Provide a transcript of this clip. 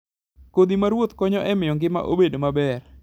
Kodhi ma ruoth konyo e miyo ngima obed maber.